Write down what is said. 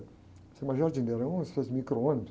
Se chama jardineira, é uma espécie de micro-ônibus.